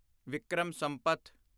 Vikram Sampath